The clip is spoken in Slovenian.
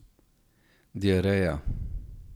Diareja.